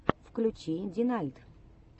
включи динальт